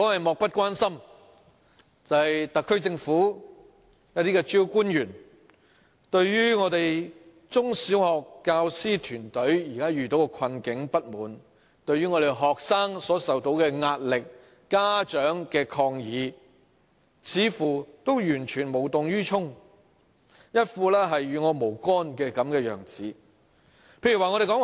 漠不關心，指的是特區政府一些主要官員，對於我們中小學教師團隊現時的困境和不滿、學生所受到的壓力、家長的抗議，似乎完全無動於衷，一副與我無干的樣子。